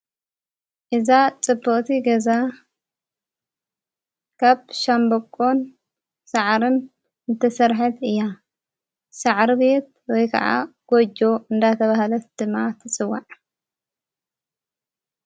እዛ ጥቡኦቲ ገዛ ካብ ሻንበቆን ሠዓርም እንተሠርሐት እያ ሠዕሩ ቤት ወይ ከዓ ጐጀ እንዳተ ብሃለት ድማ ትጽዋዕ።